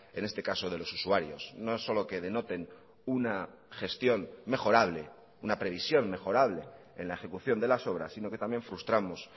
en este caso de los usuarios no es solo que denoten una gestión mejorable una previsión mejorable en la ejecución de las obras sino que también frustramos